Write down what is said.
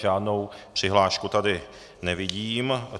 Žádnou přihlášku tady nevidím.